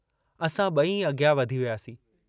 असां ब॒ई अॻियां वधी वियासीं।